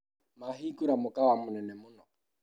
Mahingũra mũkawa mũnene mũno